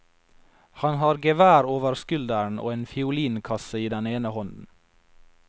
Han har gevær over skulderen og en fiolin kasse i den ene hånden.